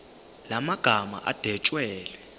la magama adwetshelwe